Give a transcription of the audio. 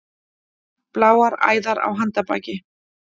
Bláar æðar á handarbaki.